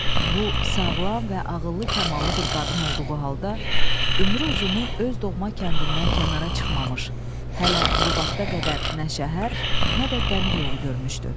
Bu, sağlam və ağıllı kamallı bir qadın olduğu halda, ömrü uzunu öz doğma kəndindən kənara çıxmamış, hələ bu vaxta qədər nə şəhər, nə də dəmir yolu görmüşdü.